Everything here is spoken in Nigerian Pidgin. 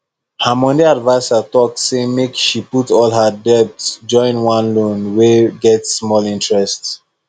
her money adviser talk say make she put all her debt join one loan wey get small interest